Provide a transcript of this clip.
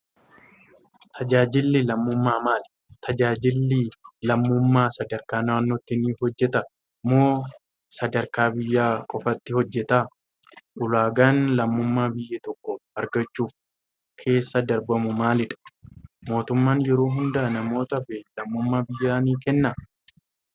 Tajaajilli lammummaa maali? Tajaajilli lammummaa sadarkaa naannootti ni hojjetaa? Moo sadarkaa biyyaa qofaatti hojjeta? Ulaagaan lammummaa biyya tokko argachuuf keessa darbamu maali dha? Mootummaan yeroo hunda namootaaf lammummaa biyyaa ni kennaa?